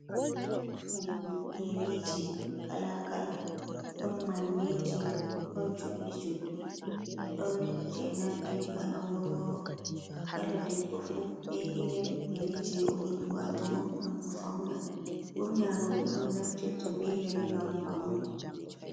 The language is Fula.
Soggu yeriji kalakala don manneji ɗon juddi juddi. Ɗon je nandinga aworworo. Kala ɗebbo fu be'i irin yeriji o yidi watogo ngam o fauna. Burna robe on naftirta be yeri ngam paune.